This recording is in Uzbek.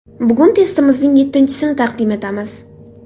Bugun testimizning yettinchisini taqdim etamiz.